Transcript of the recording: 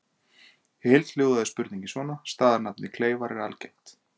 Í heild hljóðaði spurningin svona: Staðarnafnið Kleifar er algengt.